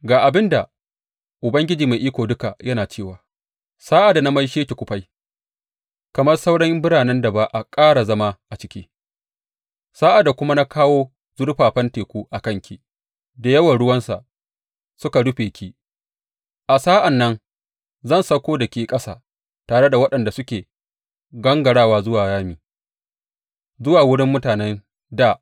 Ga abin da Ubangiji Mai Iko Duka yana cewa sa’ad da na maishe ki kufai, kamar sauran biranen da ba a ƙara zama a ciki, sa’ad da kuma na kawo zurfafan teku a kanki da yawan ruwansa suka rufe ki, a sa’an nan zan sauko da ke ƙasa tare da waɗanda suke gangarawa zuwa rami, zuwa wurin mutanen dā.